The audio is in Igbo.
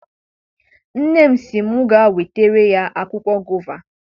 Nne m sị m gaa wetara ya akwụkwọ gova.